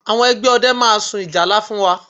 Àwọn ẹgbẹ́ ọdẹ máa sun ìjálá fún wa